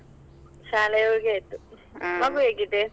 ಶಾಲೆ ಹೋಗಿ ಆಯ್ತು, ಹೇಗಿದೆ?